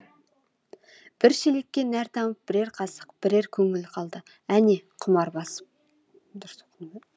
бір шелекке нәр тамып бірер қасық бірер көңіл қалды әне құмар басып